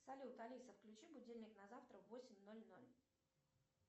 салют алиса включи будильник на завтра в восемь ноль ноль